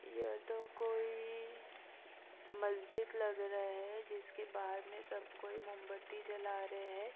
यह तो कोइ- इ मस्जिद लग रहा है जिसके बाहर मे सबकोई मोमबत्ती जला रहे है पूर्ण ।